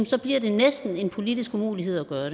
så bliver det næsten en politisk umulighed at gøre